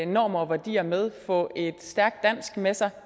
normer hvor de er med få et stærkt dansk med sig